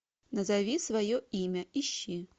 назови свое имя ищи